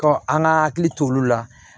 Ɔ an ka hakili t'olu la